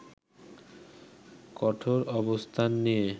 কঠোর অবস্থান নিয়ে